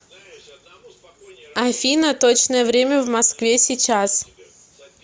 афина точное время в москве сейчас